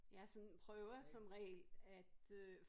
Jeg er sådan prøver som regel at øh